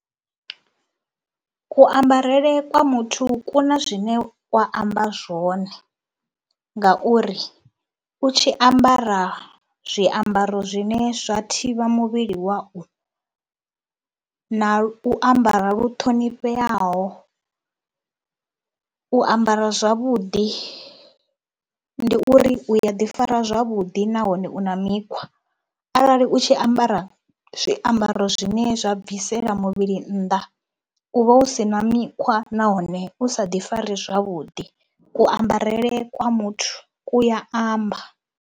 Kuambarele kwa muthu ku na zwine kwa amba zwone ngauri u tshi ambara zwiambaro zwine zwa thivha muvhili wau na u ambara lu ṱhonifheaho, u ambara zwavhuḓi ndi uri u ya ḓifara zwavhuḓi nahone u na mikhwa. Arali u tshi ambara zwiambaro zwine zwa bvisela muvhili nnḓa u vha u si na mikhwa nahone u sa ḓifari zwavhuḓi. Kuambarele kwa muthu ku ya amba.